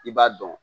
I b'a dɔn